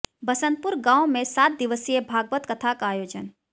बसंतपुर गांव में सात दिवसीय भागवत कथा का आयोजन